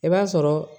I b'a sɔrɔ